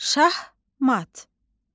Şahmat.